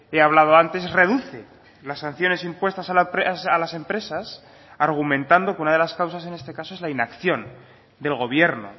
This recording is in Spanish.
he hablado antes reduce las sanciones impuestas a las empresas argumentando que una de las causas en este caso es la inacción del gobierno